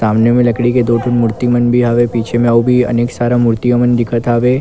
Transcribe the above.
सामने मे लकड़ी के दो ठोन मूर्ति मन भी हवे पीछे मे अउ भी अनेक सारा मूर्ति मन दिखत हवे।